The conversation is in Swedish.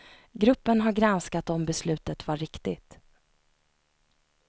Gruppen har granskat om beslutet var riktigt.